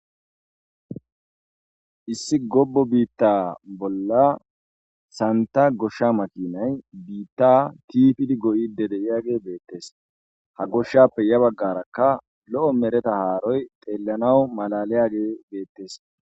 Issi gobo biitta bolla santa goshsha makinay biitta tiifidi goyide deyiage beettes ha goshshappe ya baggarakka lo7o mereta haaroy xeellanawu malaliyage beettes.